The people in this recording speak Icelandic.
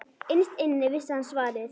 Innst inni vissi hann svarið.